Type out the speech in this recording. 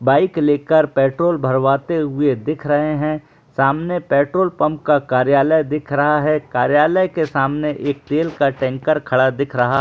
Bike लेकर petrol भरवाते हुए दिख रहे है सामने पेट्रोल पंप का कार्यालय दिख रहा है कार्यालय के सामने एक तेल का टेंकर खड़ा दिख रहा हैं।